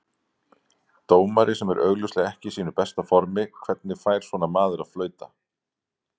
Dómari sem er augljóslega ekki í sínu besta formi, hvernig fær svona maður að flauta?